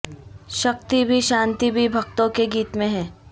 شکتی بھی شانتی بھی بھکتوں کے گیت میں ہے